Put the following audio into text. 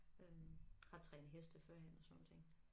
Øh har trænet heste førhen og sådan nogle ting